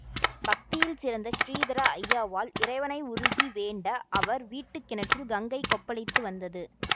பக்தியில் சிறந்த ஸ்ரீதர ஐயாவாள் இறைவனை உருகி வேண்ட அவர் வீட்டு கிணற்றில் கங்கை கொப்பளித்து வந்தது